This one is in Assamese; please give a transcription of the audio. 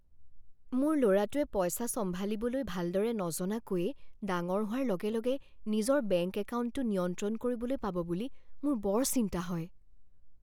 মোৰ ল'ৰাটোৱে পইচা চম্ভালিবলৈ ভালদৰে নজনাকৈয়ে ডাঙৰ হোৱাৰ লগেলগে নিজৰ বেংক একাউণ্টটো নিয়ন্ত্ৰণ কৰিবলৈ পাব বুলি মোৰ বৰ চিন্তা হয়।